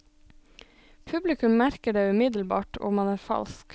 Publikum merker det umiddelbart om man er falsk.